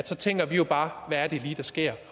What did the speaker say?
så tænker vi jo bare hvad er det lige der sker